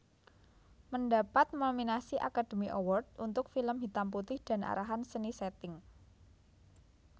Mendapat nominasi Academy Award untuk film hitam putih dan arahan seni setting